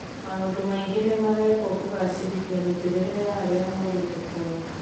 Maũndũ maingĩ nĩmarekwo kũgacĩrithia mĩtũrĩre ya arĩa morĩte kwao